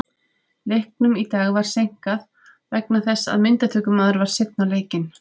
Leiknum í dag var seinkað vegna þess að myndatökumaður var seinn á leikinn.